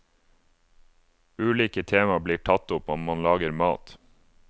Ulike tema blir tatt opp og man lager mat.